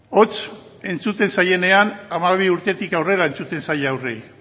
hots entzuten zaienean hamabi urtetik aurrera entzuten zaie haurrei